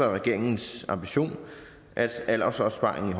og regeringens ambition at aldersopsparingen